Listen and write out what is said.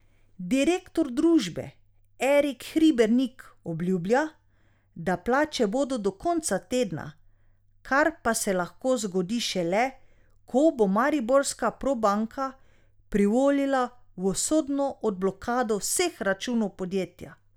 Direktor družbe Erik Hribernik obljublja, da plače bodo do konca tedna, kar pa se lahko zgodi šele, ko bo mariborska Probanka privolila v sodno odblokado vseh računov podjetja.